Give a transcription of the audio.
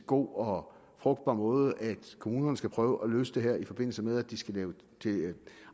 god og frugtbar måde at kommunerne skal prøve at løse det her i forbindelse med at de skal lave